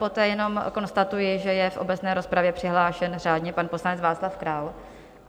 Poté jenom konstatuji, že je v obecné rozpravě přihlášen řádně pan poslanec Václav Král.